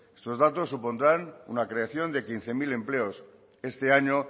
estos datos supondrán una creación de quince mil empleos este año